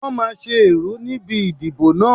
Wọ́n máa ṣe ẹ̀rú níbi ìdìbò náà.